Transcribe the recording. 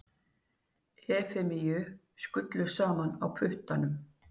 Efemíu skullu saman á puttanum.